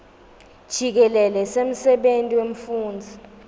jikelele semsebenti wemfundzi